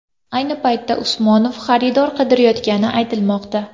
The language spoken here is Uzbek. Ayni paytda Usmonov xaridor qidirayotgani aytilmoqda.